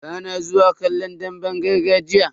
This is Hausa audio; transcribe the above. Bana zuwa kallon damben gargajiya.